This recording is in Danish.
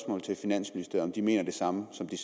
jeg om de mener det samme som de